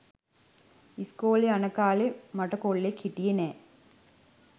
ඉස්කෝලෙ යන කාලෙ මට කොල්ලෙක් හිටියෙ නෑ